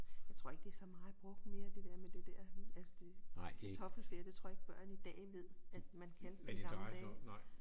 Jeg tror ikke det er så meget brugt mere det dér med det dér altså det kartoffelferie det tror jeg ikke børn i dag ved at man kan i gamle dage